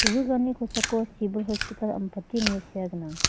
kosako sibil hospital ampati ine sea gnang.